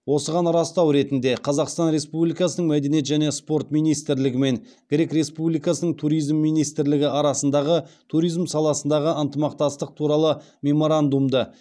осыған растау ретінде қазақстан республикасының мәдениет және спорт министрлігі мен грек республикасының туризм министрлігі арасындағы туризм саласындағы ынтымақтастық туралы меморандумды